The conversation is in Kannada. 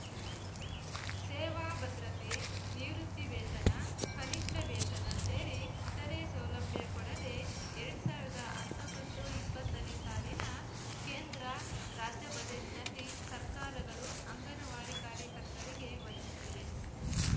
ಸೇವಾ ಭದ್ರತೆ ನಿವೃತ್ತಿ ವೇತನ ಕನಿಷ್ಠ ವೇತನ ಸೇರಿ ಇತರೆ ಸೌಲಭ್ಯ ಕೊಡದೇ ಎರಡ್ ಸಾವಿರ್ದಾ ಹತ್ತೊಂಬತ್ತುಇಪ್ಪತ್ತನೇ ಸಾಲಿನ ಕೇಂದ್ರ ರಾಜ್ಯ ಬಜೆಟ್‌ನಲ್ಲಿ ಸರ್ಕಾರಗಳು ಅಂಗನವಾಡಿ ಕಾರ್ಯಕರ್ತರಿಗೆ ವಂಚಿಸಿವೆ